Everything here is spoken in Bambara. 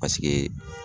Paseke